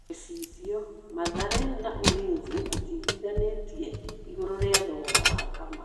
(Gĩcicio) Mathare na Ulinzi matiiguithanĩtie igũrũ rĩa thogora wa Kamau.